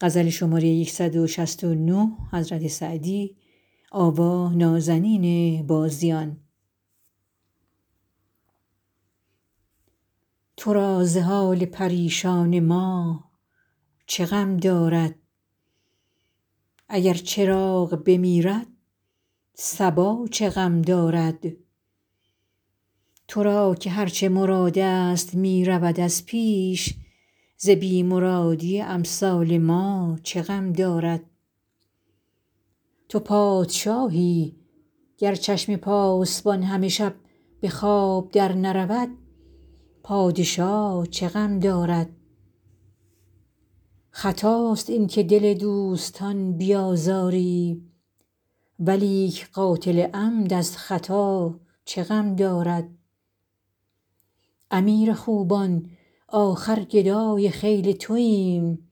تو را ز حال پریشان ما چه غم دارد اگر چراغ بمیرد صبا چه غم دارد تو را که هر چه مرادست می رود از پیش ز بی مرادی امثال ما چه غم دارد تو پادشاهی گر چشم پاسبان همه شب به خواب درنرود پادشا چه غم دارد خطاست این که دل دوستان بیازاری ولیک قاتل عمد از خطا چه غم دارد امیر خوبان آخر گدای خیل توایم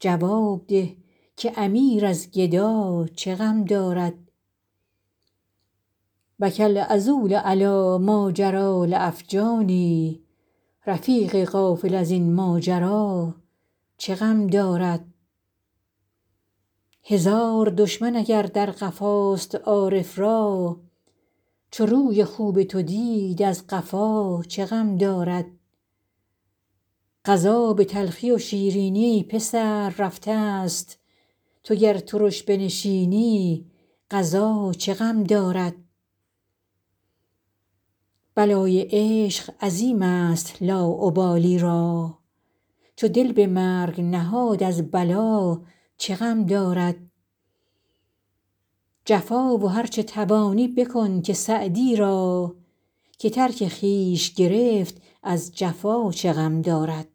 جواب ده که امیر از گدا چه غم دارد بکی العذول علی ماجری لاجفانی رفیق غافل از این ماجرا چه غم دارد هزار دشمن اگر در قفاست عارف را چو روی خوب تو دید از قفا چه غم دارد قضا به تلخی و شیرینی ای پسر رفتست تو گر ترش بنشینی قضا چه غم دارد بلای عشق عظیمست لاابالی را چو دل به مرگ نهاد از بلا چه غم دارد جفا و هر چه توانی بکن که سعدی را که ترک خویش گرفت از جفا چه غم دارد